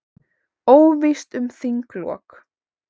Óvíst um þinglok